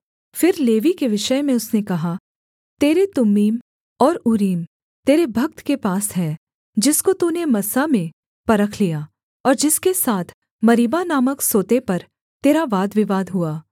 फिर लेवी के विषय में उसने कहा तेरे तुम्मीम और ऊरीम तेरे भक्त के पास हैं जिसको तूने मस्सा में परख लिया और जिसके साथ मरीबा नामक सोते पर तेरा वादविवाद हुआ